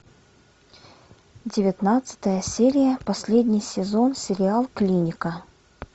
девятнадцатая серия последний сезон сериал клиника